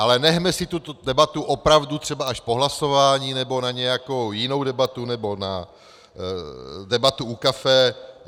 Ale nechme si tuto debatu opravdu třeba až po hlasování, nebo na nějakou jinou debatu, nebo na debatu u kafe.